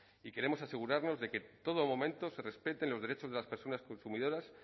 y queremos asegurarnos de que en todo momento se respeten los derechos de las personas consumidoras